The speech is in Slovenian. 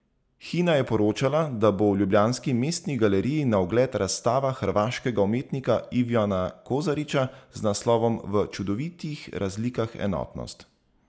Hina je poročala, da bo v ljubljanski Mestni galeriji na ogled razstava hrvaškega umetnika Ivana Kožarića z naslovom V čudovitih razlikah enotnost!